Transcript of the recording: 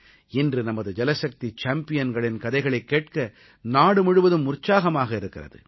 இன்று நமது ஜலசக்தி சேம்பியன்களின் கதைகளைக் கேட்க நாடு முழுவதும் உற்சாகமாக இருக்கிறது